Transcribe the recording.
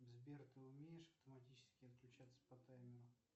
сбер ты умеешь автоматически отключаться по таймеру